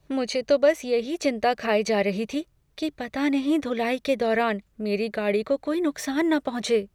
मुझे तो बस यही चिंता खाए जा रही थी कि पता नहीं धुलाई के दौरान मेरी गाड़ी को कोई नुकसान ना पहुंचे।